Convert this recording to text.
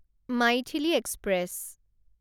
Maithili express